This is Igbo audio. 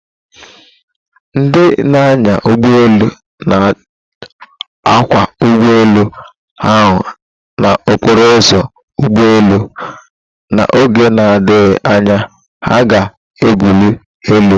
Ndị na-anya ụgbọ elu na-akwọ ụgbọ elu ahụ na okporo ụzọ ugbo elu, na oge na-adịghị anya, ha ga-ebuli elu